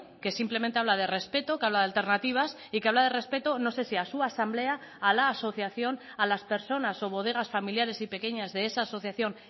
que simplemente habla de respeto que habla de alternativas y que habla de respeto no sé si a su asamblea a la asociación a las personas o bodegas familiares y pequeñas de esa asociación